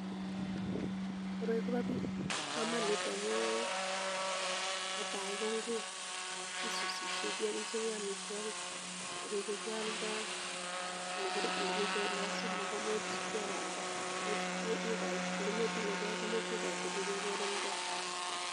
Koroi kopa kamanut amu neati ko ngwek kisusishe amitwokik, nerupe kialdai nebo somok komuch kewalda , ngometinye pek imuche ikoite chu kekonin pek.